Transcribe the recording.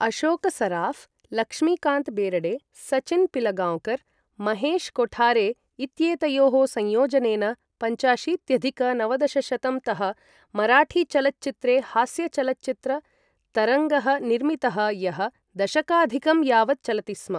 अशोक सराफ, लक्ष्मीकांत बेरडे, सचिन पिलगांवकर, महेश कोठारे इत्येतयोः संयोजनेन पञ्चाशीत्यधिक नवदशशतं तः मराठी चलच्चित्रे हास्य चलच्चित्र तरङ्गः निर्मितः यः दशकाधिकं यावत् चलति स्म ।